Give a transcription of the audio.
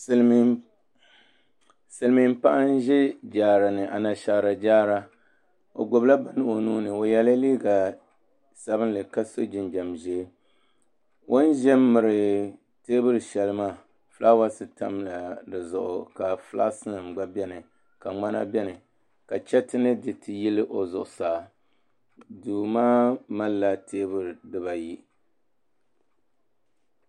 Silmiin paɣa n ʒɛ jaara ni Anashaara jaara o gbubila bini o nuuni o yɛla liiga sabinli ka so jinjɛm ʒiɛ o ni ʒɛ n miri teebuli shɛli maa fulaawaasi tamla di zuɣu ka fulas nim gba biɛni ka ŋmana biɛni ka chɛriti ni diriti yili o zuɣusaa duu maa malila teebuli dibayi